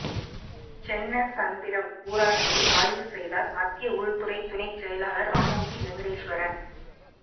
சென்னசந்திரம் ஊராட்சியில் ஆய்வு செய்தாா் மத்திய உள்துறை துணை செயலாளா் ஆனந்திவெங்கடேஸ்வரன்